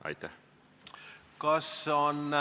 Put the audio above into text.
Aitäh!